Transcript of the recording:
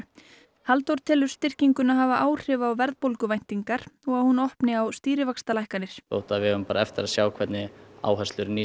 Halldór telur styrkinguna hafa áhrif á verðbólguvæntingar og að hún opni á stýrivaxtalækkanir þó við eigum eftir að sjá hverjar áherslur nýs